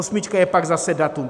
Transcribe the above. Osmička je pak zase datum.